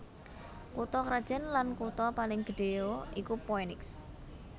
Kutha krajan lan kutha paling gedhéya iku Phoenix